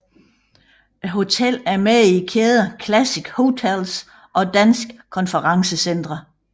Hotellet er med i kæderne Classic Hotels og Danske Konferencecentre